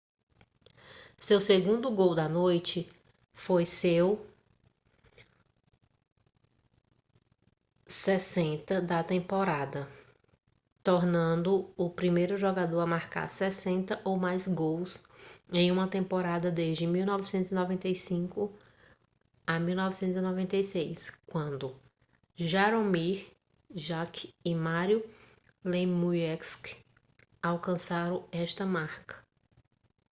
seu segundo gol da noite foi seu 60º da temporada tornando-o o primeiro jogador a marcar 60 ou mais gols em uma temporada desde 1995/96 quando jaromir jagr e mario lemieux alcançaram esta marca